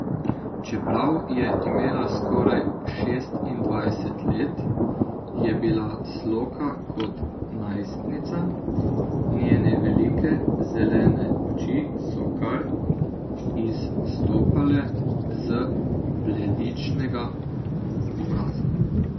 Čeprav je imela skoraj šestindvajset let, je bila sloka kot najstnica, njene velike, zelene oči so kar izstopale z bledičnega obraza.